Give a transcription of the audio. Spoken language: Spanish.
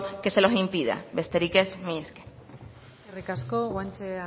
que se lo impida besterik ez mila esker eskerrik asko guanche